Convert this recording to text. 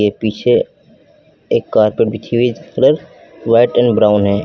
एक पीछे एक कारपेट बिछी हुई है जिसकी कलर व्हाइट एंड ब्राउन है।